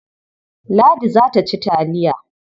Ladi za ta ci taliya.